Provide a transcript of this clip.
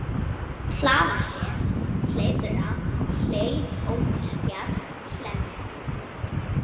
Hlaðarsel, Hleiðra, Hleiðólfsfjall, Hlemmur